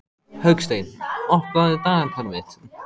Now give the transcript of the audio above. Hauksteinn, opnaðu dagatalið mitt.